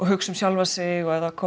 hugsa um sjálfan sig ef